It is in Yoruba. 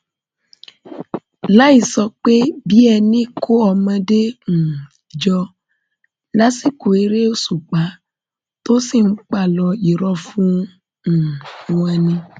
láì sọ pé bíi ẹni kó ọmọdé um jọ lásìkò eré òṣùpá tó sì ń páálò irọ fún um wọn ni